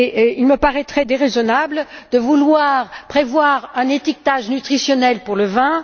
Il me paraît déraisonnable de vouloir prévoir un étiquetage nutritionnel pour le vin.